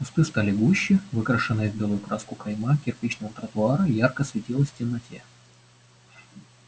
кусты стали гуще выкрашенная в белую краску кайма кирпичного тротуара ярко светилась в темноте